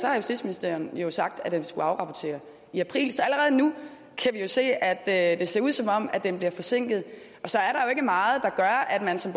er at justitsministeren jo sagt at den skulle afrapportere i april så allerede nu kan vi se at at det ser ud som om den bliver forsinket og så er der jo ikke meget der gør at man som